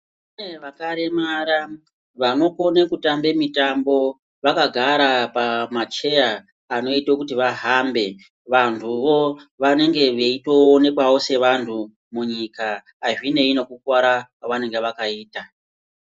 Kune vakaremara vanokone kutambe mitambo vakagara pamacheya anoite kuti vahambe, vanthuwo vanenge veitoonekwawo sevanthu munyika azvinei nekukuwara kwavakaita.